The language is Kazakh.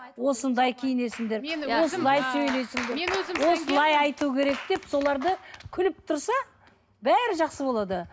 осындай киінесіңдер осылай айту керек деп соларды күліп тұрса бәрі жақсы болады